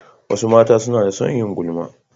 Wasu mata suna da son yin gulma.